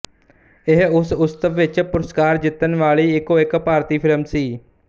ਇਹ ਇਸ ਉਤਸਵ ਵਿੱਚ ਪੁਰਸਕਾਰ ਜਿੱਤਣ ਵਾਲੀ ਇੱਕੋਇੱਕ ਭਾਰਤੀ ਫ਼ਿਲਮ ਸੀ